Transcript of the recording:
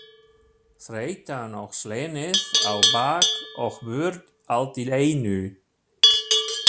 Þreytan og slenið á bak og burt allt í einu.